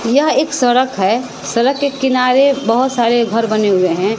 यह एक सरक है सरक के किनारे बहोत सारे घर बने हुए हैं।